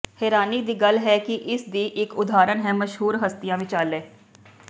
ਹੈਰਾਨੀ ਦੀ ਗੱਲ ਹੈ ਕਿ ਇਸ ਦੀ ਇਕ ਉਦਾਹਰਣ ਹੈ ਮਸ਼ਹੂਰ ਹਸਤੀਆਂ ਵਿਚਾਲੇ